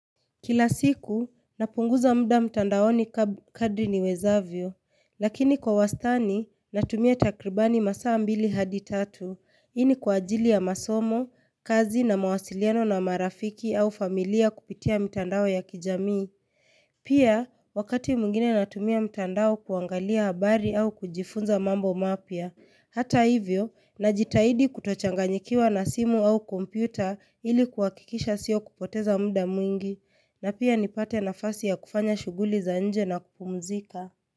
Kila siku, napunguza mda mtandao ni kadri ni wezavyo. Lakini kwa wastani, natumia takribani masaa mbili hadi tatu. Hii ni kwa ajili ya masomo, kazi na mawasiliano na marafiki au familia kupitia mtandao ya kijamii. Pia, wakati mwingine natumia mtandao kuangalia habari au kujifunza mambo mapya. Hata hivyo, najitahidi kutochanganyikiwa na simu au kompyuta ili kuhakikisha siyo kupoteza mda mwingi. Na pia nipate nafasi ya kufanya shughuli za nje na kupumzika.